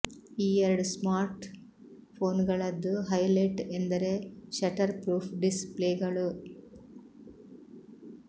ಈ ಎರಡು smart phone ಗಳದ್ದು ಹೈಲೆಟ್ ಎಂದರೆ ಶಟರ್ ಫ್ರೂಫ್ ಡಿಸ್ ಪ್ಲೇಗಳು